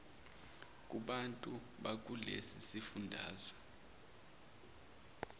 kubantu bakulesi sifundazwe